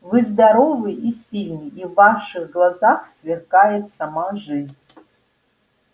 вы здоровый и сильный и в ваших глазах сверкает сама жизнь